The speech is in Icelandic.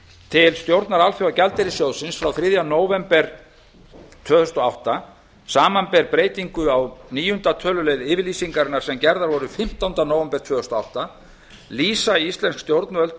til stjórnar alþjóðagjaldeyrissjóðsins frá þriðja nóvember tvö þúsund og átta samanber breytingu á níunda tölulið yfirlýsingarinnar sem gerðar voru fimmtánda nóvember tvö þúsund og átta lýsa íslensk stjórnvöld